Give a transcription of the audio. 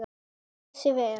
Hann ber sig vel.